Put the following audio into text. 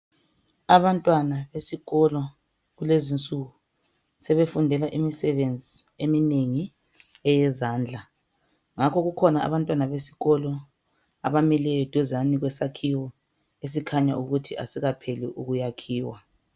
Abantwana besikolo kulezi insuku, sebefundela imusebenzi eminengi eyezandla, njakho kukhona abantwana besikolo abami eduzane kwesakhiwo, esikhanyayo ukuthi kasikapheli ukuyakhiwa.